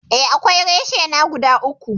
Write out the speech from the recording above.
Eh, akwai reshina guda uku.